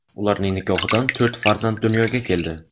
Ularning nikohidan to‘rt farzand dunyoga keldi.